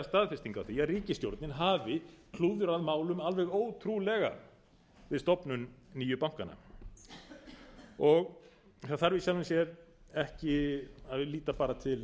staðfesting á því að ríkisstjórnin hafi klúðrað málum alveg ótrúlega við stofnun nýju bankanna það þarf í sjálfu sér ekki að líta bara